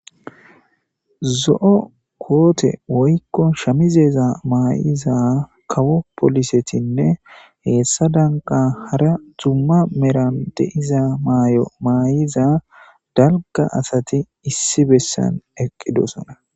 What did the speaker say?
Zo7o koote woykko shamizeeza maayiza kawo polisetinne heessa danqa hara zumma meran deiza maay7o maayiza dalga asati issi bessan eqqidosona.